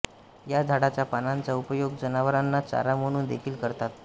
या झाडाच्या पानांचा उपयोग जनावरांना चारा म्हणून देखील करतात